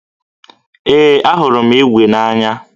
Ee, ahụrụ m ígwè n'anya